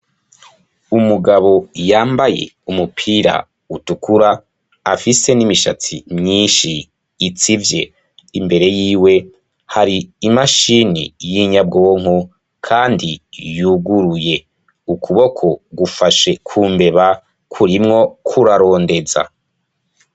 Umugabo yambaye umupira utukura afise n'imishatsi mwinshi itsivye, imbere yiwe hari imashini y'inyabwonko kandi yuguruye, ukuboko gufashe ku mbeba kurimwo kurarondeza.